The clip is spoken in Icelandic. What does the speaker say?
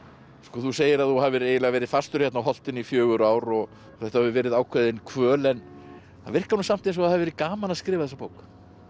þú segir að þú hafir eiginlega verið fastur hérna á holtinu í fjögur ár og þetta hafi verið ákveðin kvöl en það virkar samt eins og það hafi verið gaman að skrifa þessa bók